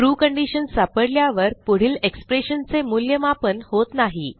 true condition सापडल्यावर पुढील expression चे मूल्यमापन होत नाही